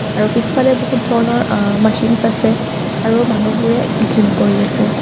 আৰু পিছফালে বহুত ধৰণৰ আহ্ মাচিনচ আছে আৰু মানুহবোৰে জিম কৰি আছে।